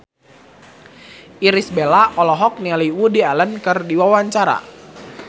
Irish Bella olohok ningali Woody Allen keur diwawancara